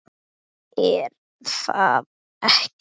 er það ekki?